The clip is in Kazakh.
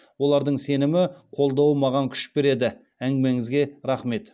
олардың сенімі қолдауы маған күш береді әңгімеңізге рахмет